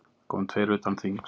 Það koma tveir utan þings.